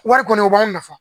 Wari kɔnɔ o b'an nafa.